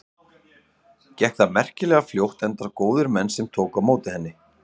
Gekk það merkilega fljótt enda góðir menn sem tóku á móti henni.